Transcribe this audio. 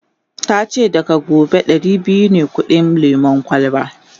yace daga gobe Dari biyu ne kudin lemun kwalba